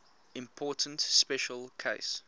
important special case